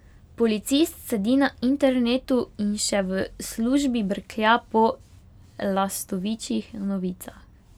Policist sedi na internetu in še v službi brklja po lastovičjih novicah.